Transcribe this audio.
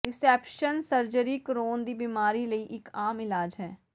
reception surgery Crohn ਦੀ ਬੀਮਾਰੀ ਲਈ ਇੱਕ ਆਮ ਇਲਾਜ ਹੈ